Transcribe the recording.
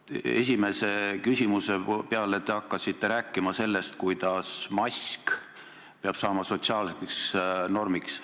Esimese küsimuse peale te hakkasite rääkima sellest, kuidas mask peab saama sotsiaalseks normiks.